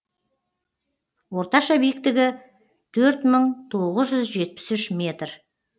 орташа биіктігі төрт мың тоғыз жүз жетпіс үш метр